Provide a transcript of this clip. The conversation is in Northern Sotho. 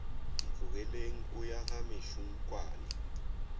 ntlogeleng o ya ga mešunkwane